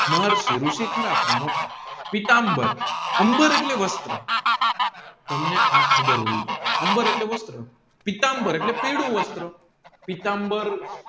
મહાઋષિ ઋષિ ખરા પણ મોટા પીતામ્બર પીતામ્બર એટલે વસ્ત્ર તમને આ ખબર હોવી જોઈએ અમ્બર એટલે વસ્ત્ર પીતામ્બર એટલે પીળું વસ્ત્ર પીતામ્બર